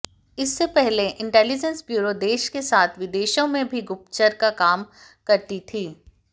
इससे पहले intelligence bureau देश के साथ विदेशों में भी गुप्तचर का काम करती थी